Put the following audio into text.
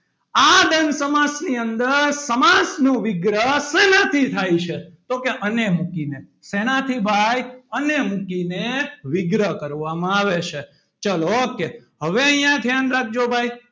આ દ્વંદ સમાસની અંદર સમાસનું વિગ્રહ શેનાથી થાય છે. તો કે અને મૂકીને શેનાથી ભાઈ અને મૂકીને વિગ્રહ કરવામાં આવે છે. ચલો ok હવે અહીંયા ધ્યાન રાખજો. ભાઈ,